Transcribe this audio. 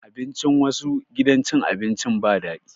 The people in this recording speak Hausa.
Abincin wassu gidan cin abinci ba daɗi